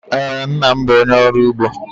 Ee, nna nna m bụ onye ọrụ ugbo.